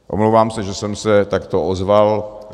Omlouvám se, že jsem se takto ozval.